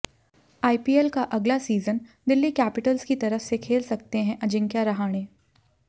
IPL का अगला season Delhi Capitals की तरफ से खेल सकते हैं अजिंक्य रहाणे